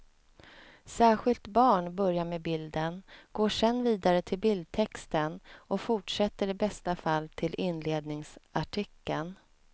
Särskilt barn börjar med bilden, går sen vidare till bildtexten och fortsätter i bästa fall till inledningsartikeln.